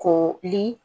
Ko li